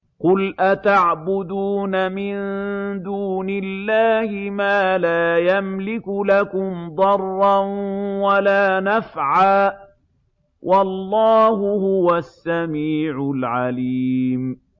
قُلْ أَتَعْبُدُونَ مِن دُونِ اللَّهِ مَا لَا يَمْلِكُ لَكُمْ ضَرًّا وَلَا نَفْعًا ۚ وَاللَّهُ هُوَ السَّمِيعُ الْعَلِيمُ